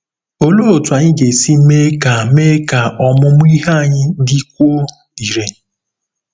Olee otú anyị ga-esi mee ka mee ka ọmụmụ ihe anyị dịkwuo irè?